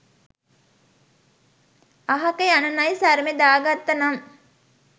අහක යන නයි සරමෙ දාගත්ත නම්